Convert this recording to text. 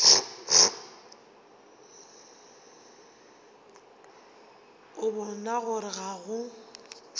a bona gore ga go